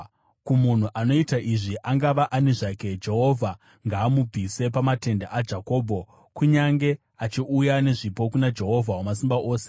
Kumunhu anoita izvi, angava ani zvake, Jehovha ngaamubvise pamatende aJakobho, kunyange achiuya nezvipo kuna Jehovha Wamasimba Ose.